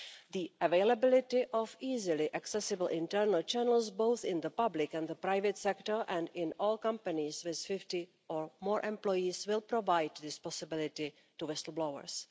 The availability of easily accessible internal channels, both in the public and the private sector and in all companies with 50 or more employees, will provide this possibility to whistle blowers.